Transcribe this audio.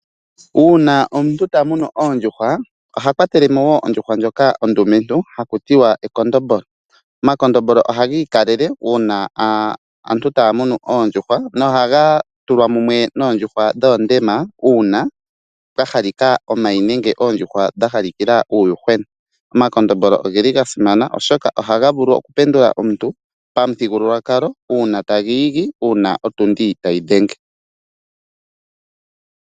Uuna omuntu ta munu oondjuhwa oha kwatele mo wo ondjuhwa ndjoka ondumentu ha ku tiwa ekondombolo. Omakondombolo ohaga ikalele uuna aantu taa munu oondjuhwa nohaga tulwa mumwe noondjuhwa dhoondema uuna pwa halika omayi nenge oondjuhwa dha halikila uuyuhwena. Omakondombolo ogeli ga simana oshoka ohaga vulu okupendula omuntu pamuthigululwakalo uuna tagi igi uuna otundi tayi dhenge.